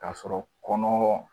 K'a sɔrɔ kɔnɔ